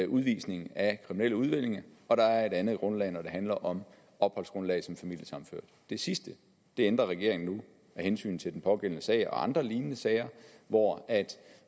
udvisning af kriminelle udlændinge og der er et andet grundlag når det handler om opholdsgrundlag som familiesammenført det sidste ændrer regeringen nu af hensyn til den pågældende sag og andre lignende sager hvor